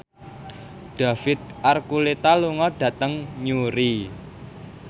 David Archuletta lunga dhateng Newry